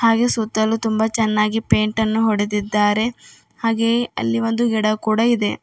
ಹಾಗೆ ಸುತ್ತಲೂ ತುಂಬಾ ಚೆನ್ನಾಗಿ ಪೇಂಟ ನ್ನು ಹೊಡೆದಿದ್ದಾರೆ ಹಾಗೆ ಅಲ್ಲಿ ಒಂದು ಗಿಡ ಕೂಡ ಇದೆ.